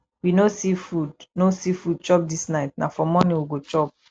we no see food no see food chop dis night na for morning we go chop